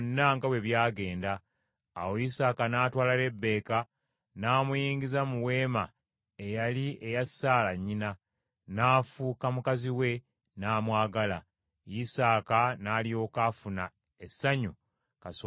Awo Isaaka n’atwala Lebbeeka n’amuyingiza mu weema eyali eya Saala nnyina, n’afuuka mukazi we n’amwagala. Isaaka n’alyoka afuna essanyu kasookedde afiirwa nnyina.